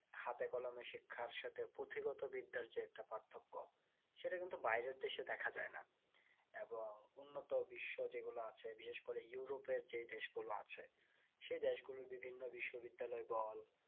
হাতে কলমের শিক্ষার সাথে পুথিগত বিদ্যার যে একটা পার্থক্য সেটা কিন্তু বাইরের দেশে দেখা যাই না এবং উন্নত বিশ্ব যেগুলো আছে বিশেষ করে ইউরোপ এর যে দেশ গুলো আছে সে দেশ গুলোর বিভিন্ন বিশ্ববিদ্যালয় বল